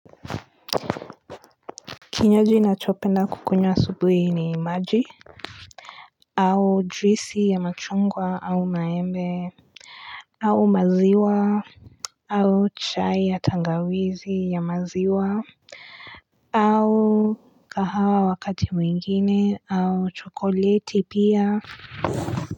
Kinywaji nachopenda kukunywa asubuhi ni maji au juisi ya machungwa au maembe au maziwa au chai ya tangawizi ya maziwa au kahawa wakati mwingine au chokoleti pia.